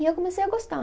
E eu comecei a gostar.